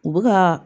U bɛ ka